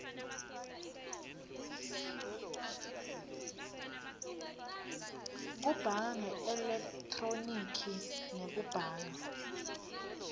kubhanga ngeelekhthronikhi nekubhanga